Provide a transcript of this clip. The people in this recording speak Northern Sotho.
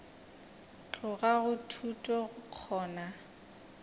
tloga go thuto go kgona